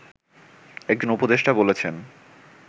একজন উপদেষ্টা বলেছেন